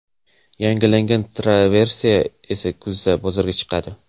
Yangilangan Traverse esa kuzda bozorga chiqadi.